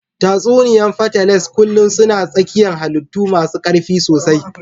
Tatsuniya fatales kullun suna tsakiyan hallitu masu karfi sosai.